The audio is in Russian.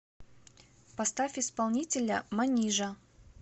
поставь исполнителя манижа